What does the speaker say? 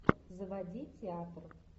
заводи театр